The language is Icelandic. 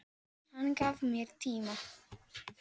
Hann gaf mér tíma.